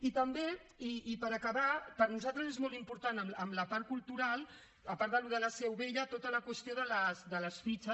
i també i per acabar per nosaltres és molt important en la part cultural a part d’allò de la seu vella tota la qüestió de les fitxes